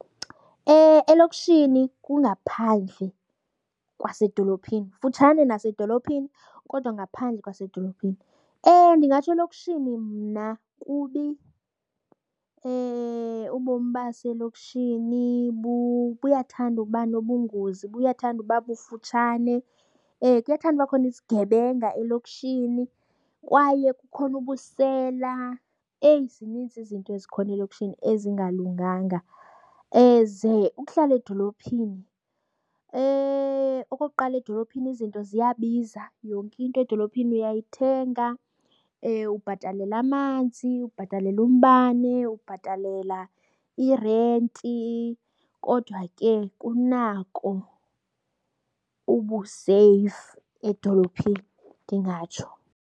Elokishini kungaphandle kwasedolophini, kufutshane nasedolophini kodwa ngaphandle kwasedolophini. Ewe, ndingatsho elokishini mna kubi. Ubomi baselokishini buyathanda ukuba nobungozi, buyathanda ukuba bufutshane, kuyathanda ukuba khona izigebenga elokishini kwaye kukhona ubusela. Eyi, zininzi izinto ezikhona elokishini ezingalunganga. Ze ukuhlala edolophini okokuqala edolophini izinto ziyabiza yonke into edolophini uyayithenga. Ubhatalela amanzi, ubhatalela umbane, ubhatalela irenti kodwa ke kunako ubuseyifu edolophini, ndingatsho.